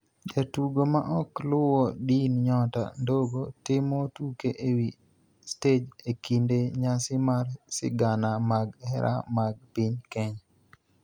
Jatugo ma ok luwo din Nyota Ndogo timo tuke e wi stej e kinde nyasi mar sigana mag hera mag piny Kenya